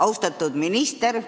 Austatud minister!